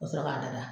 Ka sɔrɔ k'a dada